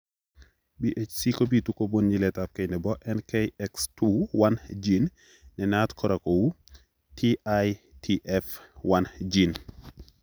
BHC kobitu kobun nyiletabge nebo NKX2 1 gene nenaat kora kou TITF1 gene.